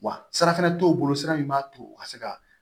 Wa sara fana t'o bolo sira in b'a to u ka se ka